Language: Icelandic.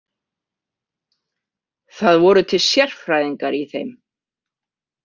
Það voru til sérfræðingar í þeim.